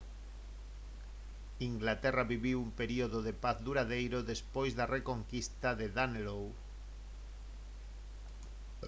inglaterra viviu un período de paz duradeiro despois da reconquista de danelaw